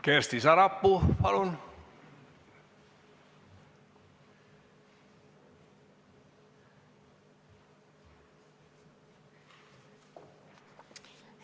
Kersti Sarapuu, palun!